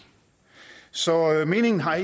så meningen har